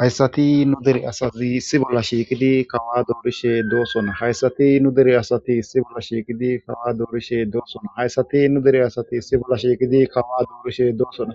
hayssati nu deri asazi si bolla shiiqidi kawa duorishe doosona hayssati nu dere asati si bolla shiiqidi kawa duorishe doossona hayssati nu dere asati si bolla shiiidi kawa duorishe doosona